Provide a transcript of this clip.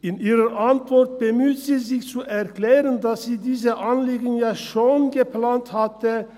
In ihrer Antwort bemüht sie sich zu erklären, dass sie diese Anliegen ja schon geplant hatte.